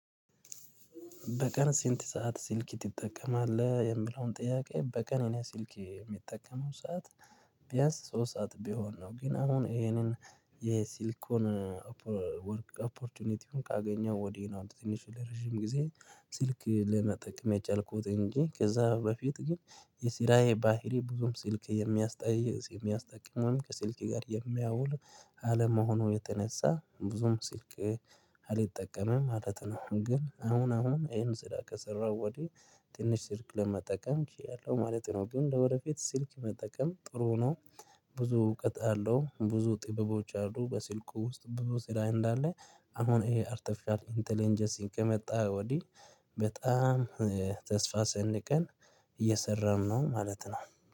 በቀን ስንት ሰዓት ስልክ ትጠቀማለህ? የምለውን ጥያቄ በቀን እኔ ስልኬ የሚጠቀመው ሰዓት ቢያንስ ሶስት ሰዓት ቢሆን ነው። ግን አሁን ይሄንን የሲልኩን ወርክ ኦፖርቹኒቲውን ካገኘው ወዲህ ነው። ትንሽ ለረጅም ጊዜ ስልክ ለመጠቀም የቻልኩት እንጂ ከዛ በፊት ግን የሲራዬ ባህሪ ብዙም ስልክ የሚያስጠይዝ የሚያስጠቅም ከስልኬ ጋር የሚያውል አለመሆኑ የተነሳ ብዙም ስልክ አልጠቀምም ማለት ነው። ግን አሁን አሁን ይሄን ስራ ከሰራሁ ወዲህ ትንሽ ስልክ ለመጠቀም እያለሁ ማለት ነው። ግን ለወረፊት ስልክ መጠቀም ጥሩ ነው። ብዙ እውቀት አለው ብዙ ጥበቦች አሉ በስልኩ ውስጥ ብዙ ስራ እንዳለ አሁን ይሄ አርተፊሻል ኢንተለንጀንሲን ከመጣ ወዲህ በጣም ተስፋ ሰንቀን እየሰራን ነው ማለት ነው